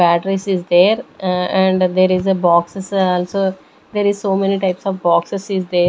batteries is there uh and there is a boxes also there is so many types of boxes is there.